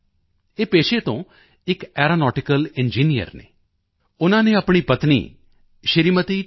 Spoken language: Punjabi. ਸ ਰਿੰਗਫਾਮੀ ਯੂੰਗ ਇਹ ਪੇਸ਼ੇ ਤੋਂ ਇੱਕ ਐਰੋਨੌਟਿਕਲ ਇੰਜੀਨੀਅਰ ਇੰਜੀਨੀਅਰ ਹਨ ਉਨ੍ਹਾਂ ਨੇ ਆਪਣੀ ਪਤਨੀ ਸ਼੍ਰੀਮਤੀ ਟੀ